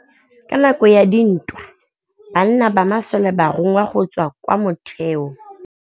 Ka nakô ya dintwa banna ba masole ba rongwa go tswa kwa mothêô.